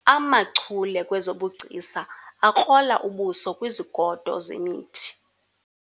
amachule kwezobugcisa akrola ubuso kwizigodo zemithi